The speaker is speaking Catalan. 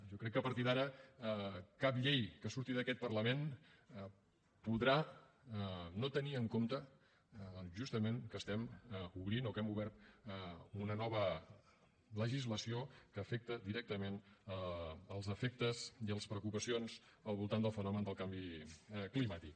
jo crec que a partir d’ara cap llei que surti d’aquest parlament podrà no tenir en compte justament que obrim o que hem obert una nova legislació que afecta directament els efectes i les preocupacions al voltant del fenomen del canvi climàtic